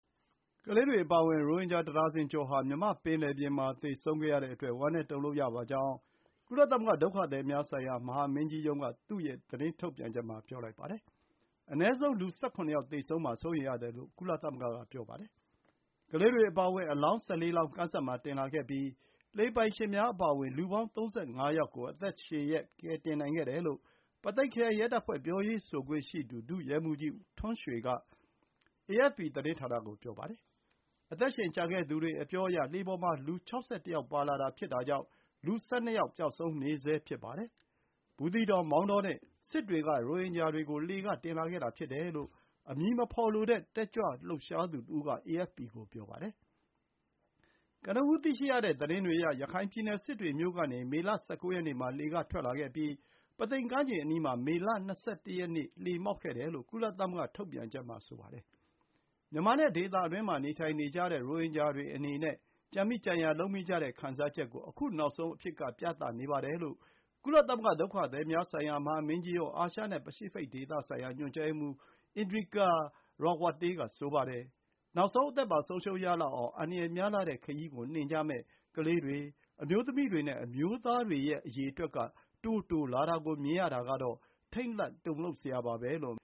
ကလေးတွေအပါအဝင် ရိုဟင်ဂျာတဒါဇင်ကျော်ဟာ မြန်မာ့ပင်လယ်ပြင်မှာ သေဆုံးခဲ့ရတဲ့အတွက် ဝမ်းနည်းတုန်လှုပ်ရပါကြောင်း ကုလသမဂ္ဂ ဒုက္ခသည်များဆိုင်ရာ မဟာမင်းကြီးရုံးက သူ့ရဲ့သတင်းထုတ်ပြန်ချက်မှာ ပြောလိုက်ပါတယ်။ အနည်းဆုံး လူ ၁၇ ယောက် သေဆုံးမှာ စိုးရိမ်ရတယ်လို့ ကုလသမဂ္ဂက ပြောပါတယ်။ ကလေးတွေအပါအဝင် အလောင်း ၁၄ လောင်း သောင်တင်လာခဲ့ပြီး လှေပိုင်ရှင်များ အပါအဝင် လူပေါင်း ၃၅ ယောက်ကို အသက်ရှင်လျက် ကယ်တင်နိုင်ခဲ့တယ်လို့ ပုသိမ်ခရိုင် ရဲတပ်ဖွဲ့ ပြောရေးဆိုခွင့် ရှိသူ ဒုရဲမှူးကြီးထွန်းရွှေက AFP သတင်းဌာနကို ပြောပါတယ်။ အသက်ရှင်ကျန်ခဲ့သူတွေ အပြောအရ လှေပေါ်မှာ လူ ၆၁ ယောက် ပါလာတာ ဖြစ်တာကြောင့် လူ ၁၂ ယောက် ပျောက်ဆုံးနေဆဲ ဖြစ်ပါတယ်။ ဘူးသီးတောင်၊ မောင်းတောနဲ့ စစ်တွေက ရိုဟင်ဂျာတွေကိုတင်လာတဲ့လှေဖြစ်တယ်လို့ အမည်မဖော်လိုတဲ့ တက်ကြွလှုပ်ရှားသူတဦးက AFP ကို ပြောပါတယ်။ ကနဦး သိရတဲ့သတင်းတွေအရ ရခိုင်ပြည်နယ် စစ်တွေမြို့ကနေ မေလ ၁၉ ရက်နေ့မှာ လှေက ထွက်လာခဲ့ပြီး ပုသိမ်ကမ်းခြေအနီးမှာ မေလ ၂၁ ရက်နေ့က လှေမှောက်ခဲ့တယ်လို့ ကုလသမဂ္ဂ ထုတ်ပြန်ချက်မှာ ဆိုပါတယ်။ မြန်မာနဲ့ ဒေသတွင်းမှာ နေထိုင်နေကြတဲ့ ရိုဟင်ဂျာတွေခံစားနေရတဲ့ ကြံမိကြံရာလုပ်မိကြတဲ့ ခံစားချက်ကို ခု နောက်ဆုံးအဖြစ်က ပြနေပါတယ်လို့ ကုလသမဂ္ဂ ဒုက္ခသည်များဆိုင်ရာ မဟာမင်းကြီးရုံး အာရှနဲ့ပစိဖိတ်ဒေသဆိုင်ရာ ညွှန်ကြားရေးမှူး Indrika Ratwatte က ဆိုပါတယ်။ “နောက်ဆုံး အသက်ပါ ဆုံးပါးရလောက်အောင် အန္တရာယ်များလှတဲ့ခရီးကို နှင်ကြမယ့် ကလေးတွေ၊ အမျိုးသမီးတွေနဲ့ အမျိုးသားတွေရဲ့ အရေအတွက်က တိုးလာတာကို မြင်ရတာကတော့ ထိတ်လန့် တုန်လှုပ်စရာပါ” လို့